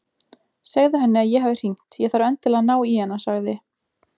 Segðu henni að ég hafi hringt, ég þarf endilega að ná í hana sagði